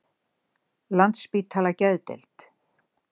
Landspítala Geðdeild